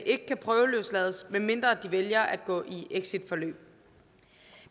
ikke kan prøveløslades medmindre de vælger at gå i exitforløb